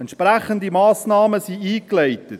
Entsprechende Massnahmen wurden eingeleitet.